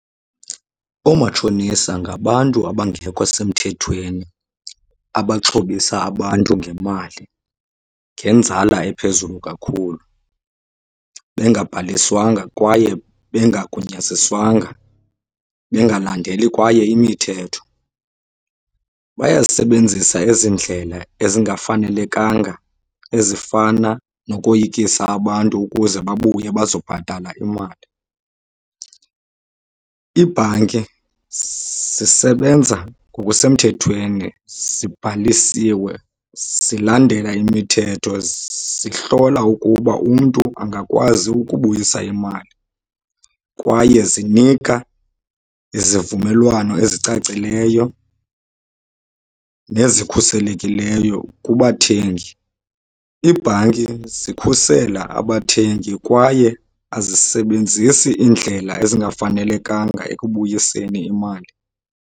Oomatshonisa ngabantu abangekho semthethweni abaxhobisa abantu ngemali ngenzala ephezulu kakhulu bengabhaliswanga kwaye bengagunyaziswanga, bengalandeli kwaye imithetho. Bayazisebenzisa ezi ndlela ezingafanelekanga ezifana nokoyikisa abantu ukuze babuye bazobhatala imali. Iibhanki zisebenza ngokusemthethweni, zibhalisiwe, zilandela imithetho, zihlola ukuba umntu angakwazi ukubuyisa imali kwaye zinika izivumelwano ezicacileyo nezikhuselekileyo kubathengi. Iibhanki zikhusela abathengi kwaye azisebenzisi iindlela ezingafanelekanga ekubuyiseni imali.